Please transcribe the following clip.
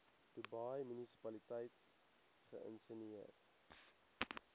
dubai munisipaliteit geïnisieer